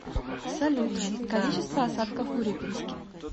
салют количество осадков в урюпинске